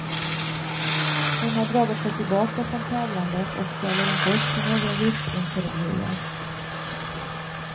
Hon har dragit sig tillbaka från tävlandet och ställer inte upp för några djupintervjuer.